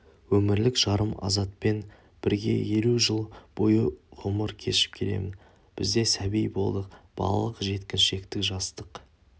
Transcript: өмірлік жарым азатпен бірге елу жыл бойы ғұмыр кешіп келемін бізде сәби болдық балалық жеткіншектік жастық